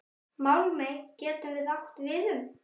Málmey getur átt við um